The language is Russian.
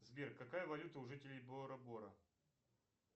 сбер какая валюта у жителей бора бора